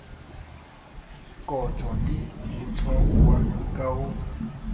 kotjwa ke motshwaruwa ka ho